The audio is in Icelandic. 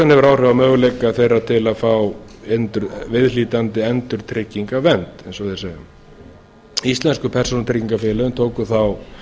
hefur orðið á möguleika þeirra til að fá viðhlítandi endurtryggingavernd eins og þeir segja íslensku persónutryggingafélögin tóku þá